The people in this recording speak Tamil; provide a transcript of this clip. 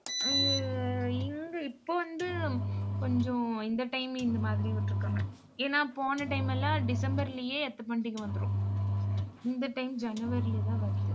அய்யோ இங்க இப்ப வந்து கொஞ்சம் இந்த time இந்த மாதிரி விட்டிருக்காங்க. ஏன்னா, போன time எல்லாம் டிசம்பர்லேயே எத்த பண்டிகை வந்துரும் இந்த time ஜனவரிலதான் வருது